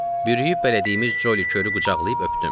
Bürüyüb bələdiyimiz Joli Körü qucaqlayıb öpdüm.